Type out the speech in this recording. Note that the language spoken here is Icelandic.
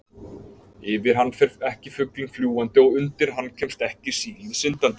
Yfir hann fer ekki fuglinn fljúgandi og undir hann kemst ekki sílið syndandi.